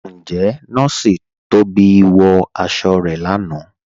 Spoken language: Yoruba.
Ǹjẹ̀ Nọọ̀ṣì Tóbi wọ aṣọ̀ rẹ̀ láńà?